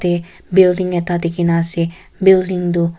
building ekta dikhi na ase building tu.